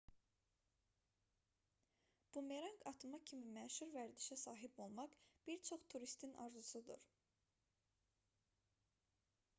bumeranq atma kimi məşhur vərdişə sahib olmaq bir çox turistin arzusudur